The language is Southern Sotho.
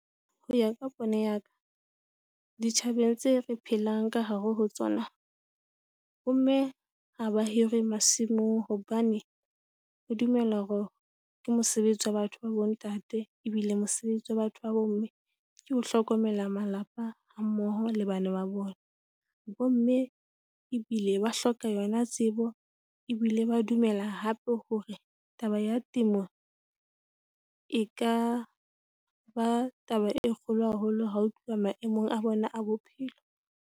Ho ya ka pono ya ka ditjhabeng tse re phelang ka hare ho tsona. Bomme ha ba hirwe masimong hobane ho dumelwa hore ke mosebetsi wa batho ba bontate ebile mosebetsi wa batho ba bomme ke ho hlokomela malapa hammoho le bana ba bona. Bomme ebile ba hloka yona tsebo ebile ba dumela hape hore taba ya temo e ka ba taba e kgolo haholo ha ho tluwa maemong a bona a bophelo.